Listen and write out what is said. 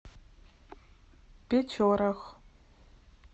печорах